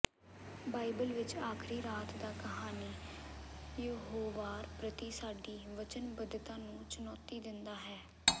Bible ਵਿਚ ਆਖ਼ਰੀ ਰਾਤ ਦਾ ਕਹਾਣੀ ਯਹੋਵਾਹ ਪ੍ਰਤੀ ਸਾਡੀ ਵਚਨਬਧਤਾ ਨੂੰ ਚੁਣੌਤੀ ਦਿੰਦਾ ਹੈ